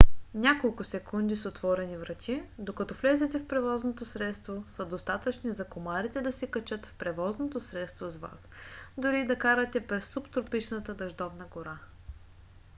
няколко секунди с отворени врати докато влезете в превозното средство са достатъчни за комарите да се качат в превозното средство с вас дори и да карате през субтропичната дъждовна гора